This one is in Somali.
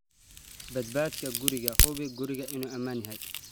"Badbaadada guriga Hubi in gurigaagu ammaan yahay.